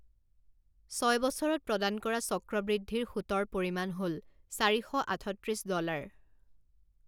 ছয় বছৰত প্ৰদান কৰা চক্ৰবৃদ্ধিৰ সুতৰ পৰিমাণ হ'ল চাৰি শ আঠত্ৰিছ ডলাৰ৷